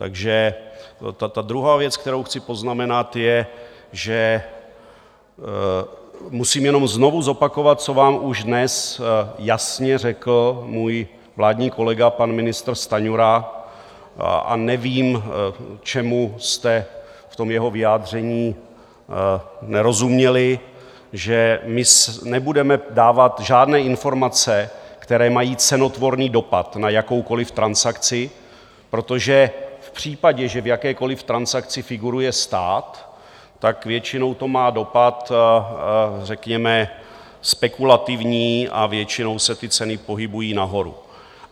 Takže ta druhá věc, kterou chci poznamenat, je, že musím jenom znovu zopakovat, co vám už dnes jasně řekl můj vládní kolega, pan ministr Stanjura, a nevím, čemu jste v tom jeho vyjádření nerozuměli, že my nebudeme dávat žádné informace, které mají cenotvorný dopad na jakoukoliv transakci, protože v případě, že v jakékoliv transakci figuruje stát, tak většinou to má dopad, řekněme, spekulativní a většinou se ty ceny pohybují nahoru.